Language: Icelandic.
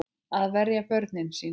Að verja börnin sín.